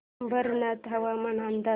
अंबरनाथ हवामान अंदाज